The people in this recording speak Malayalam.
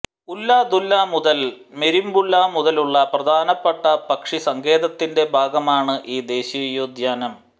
ഉല്ലദുല മുതൽ മെരിംബുല മുതലുള്ള പ്രധാനപ്പെട്ട പക്ഷി സങ്കേതത്തിന്റെ ഭാഗമാണ് ഈ ദേശീയോദ്യാനം